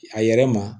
A yɛrɛ ma